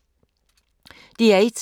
DR1